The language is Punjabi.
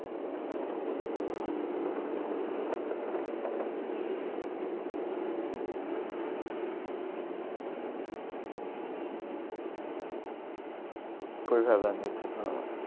ਕੋਈ ਫ਼ਾਇਦਾ ਨੀ ਇੱਥੇ ਤਾਂ।